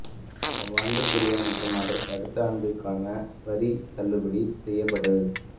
அவ்வாண்டுக்குரிய மற்றும் அதற்கு அடுத்த ஆண்டுக்கான வரி தள்ளுபடி செய்யப்பட்டது